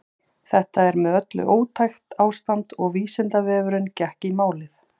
Þetta var með öllu ótækt ástand og Vísindavefurinn gekk í málið.